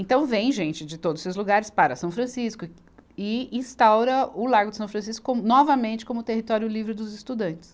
Então vem gente de todos esses lugares para a São Francisco e, e instaura o Largo de São Francisco novamente como território livre dos estudantes.